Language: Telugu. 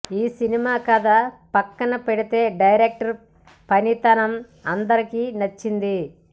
ఈ సినిమా కథ పక్కన పెడితే డైరెక్టర్ పనితనం అందరికి నచ్చింది